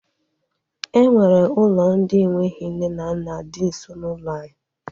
E nwere ụlọ ndị enweghị nne na nna di nso n'ụlọ anyị